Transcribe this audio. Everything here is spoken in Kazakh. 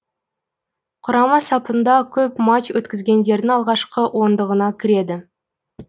құрама сапында көп матч өткізгендердің алғашқы ондығына кіреді